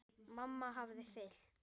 Mamma hafði fylgt